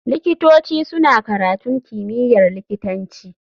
Likitoci suna karatun kimiyyar likitanci.